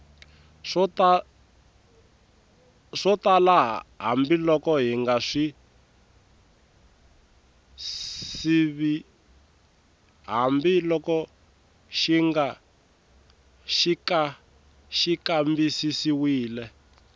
swo tala hambiloko xi kambisisiwile